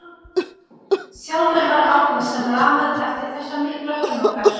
Sjálfur var Árni sem lamaður eftir þessar miklu hörmungar.